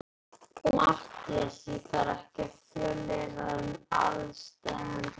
MATTHÍAS: Ég þarf ekki að fjölyrða um aðsteðjandi hættu.